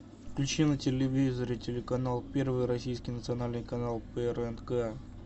включи на телевизоре телеканал первый российский национальный канал прнк